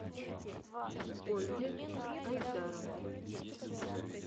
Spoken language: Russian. ольге айдаровне